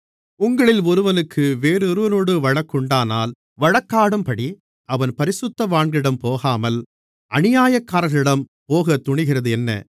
உங்களில் ஒருவனுக்கு வேறொருவனோடு வழக்குண்டானால் வழக்காடும்படி அவன் பரிசுத்தவான்களிடம் போகாமல் அநியாயக்காரர்களிடம் போகத் துணிகிறதென்ன